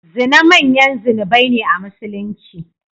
Zina manyan zunubai ne a Musulunci.